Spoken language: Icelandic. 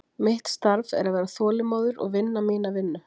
Mitt starf er að vera þolinmóður og vinna mína vinnu.